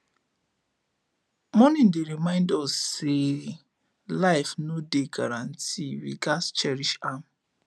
mourning dey remind us say life no dey guarantee we gats cherish am